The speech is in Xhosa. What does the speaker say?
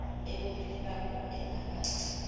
ebomini bakho engaba